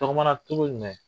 A } bilen?